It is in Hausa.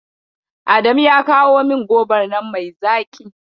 Adamu ya kawo min gobar nan mai zaƙi.